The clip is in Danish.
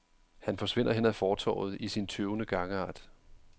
Han forsvinder hen ad fortovet i sin tøvende gangart.